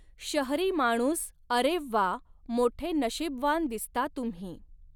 शहरी माणूस अरे वाः मोठे नशीबवान दिसता तुम्ही.